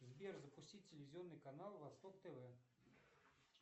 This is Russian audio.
сбер запустить телевизионный канал восток тв